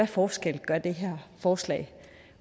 forskel gør det her forslag